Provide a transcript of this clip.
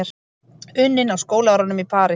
Unnin á skólaárunum í París.